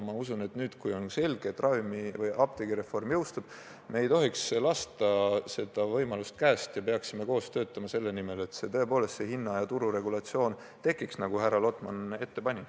Ma usun, et nüüd, kui on selge, et apteegireform jõustub, me ei tohiks võimalust käest lasta ja peaksime koos töötama selle nimel, et tõepoolest hinna- ja tururegulatsioon tekiks, nagu härra Lotman ette pani.